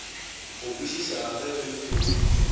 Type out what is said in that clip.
go kwešišega ge re theeleditše